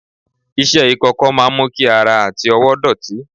iṣẹ ikọkọ máà ń mú kí ara àti ọwó dọ̀tí